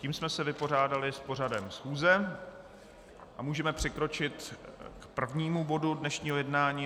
Tím jsme se vypořádali s pořadem schůze a můžeme přikročit k prvnímu bodu dnešního jednání.